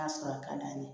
sɔrɔ ka d'an ye